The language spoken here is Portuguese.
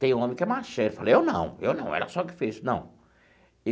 Tem homem que é ele fala, eu não, eu não, ela só que fez, não.